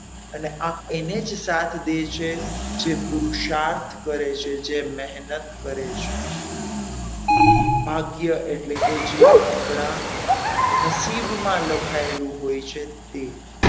અને આ એને જ સાથ દે છે જે પુરુષાર્થ કરે છે જે મહેનત કરે છે ભાગ્ય એટલે કે જે આપણા નસીબમાં લખાયેલું હોય છે તે,